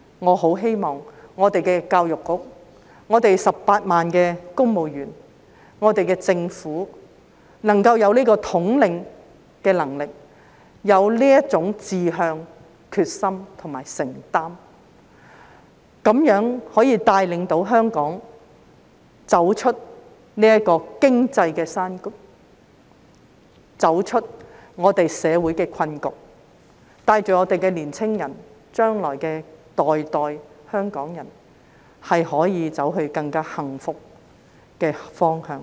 我很希望我們的教育局、18萬公務員、香港特區政府有這個統領能力，有這種志向、決心和承擔，帶領香港走出這個經濟低谷，走出我們的社會困局，帶領我們的年青人，日後世世代代香港人可以走向更幸福的方向。